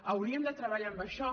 hauríem de treballar amb això